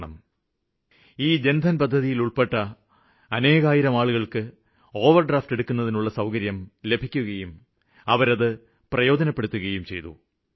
ഇപ്പോള് അനേകായിരം പേര്ക്ക് ഈ ജന്ധന് പദ്ധതിയിലുള്പ്പെട്ട് ഓവര്ഡ്രാഫ്റ്റ് എടുക്കുന്നതിനുള്ള അധികാരം ലഭിക്കുകയും അവരത് പ്രയോജനപ്പെടുത്തുകയും ചെയ്തു